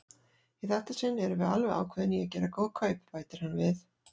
Í þetta sinn erum við alveg ákveðin í að gera góð kaup, bætir hann við.